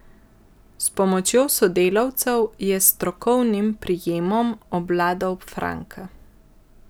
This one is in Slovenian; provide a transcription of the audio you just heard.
S pomočjo sodelavcev je s strokovnim prijemom obvladal Franka.